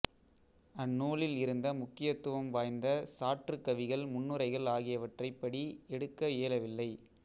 அந்நூலில் இருந்த முக்கியத்துவம் வாய்ந்த சாற்றுகவிகள் முன்னுரைகள் ஆகியவற்றைப் படி எடுக்க இயலவில்லை